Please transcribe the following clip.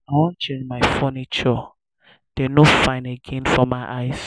i wan change my furnitures dey my furnitures dey no fine again for my eyes